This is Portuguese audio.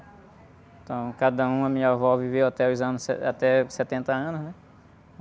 Então, cada um, a minha avó viveu até os anos se, até setenta anos, né?